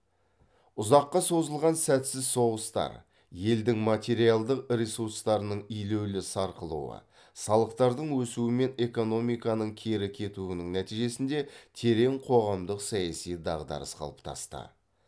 ұзаққа созылған сәтсіз соғыстар елдің материалдық ресурстарының елеулі сарқылуы салықтардың өсуі мен экономиканың кері кетуінің нәтижесінде терең қоғамдық саяси дағдарыс қалыптасты